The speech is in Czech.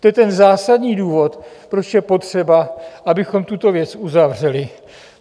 To je ten zásadní důvod, proč je potřeba, abychom tuto věc uzavřeli.